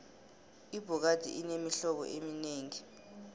ibhokadi inemihlobo eminengi